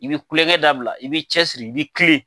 I bɛ kulenkɛ dabila, i b'i cɛ siri, i bɛ tilen.